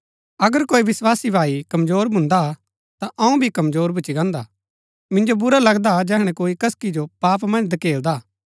अगर कोई विस्वासी भाई कमजोर भून्दा हा ता अऊँ भी कमजोर भूच्ची गान्दा हा मिन्जो बुरा लगदा जैहणै कोई कसकी जो पाप मन्ज धकेलदा हा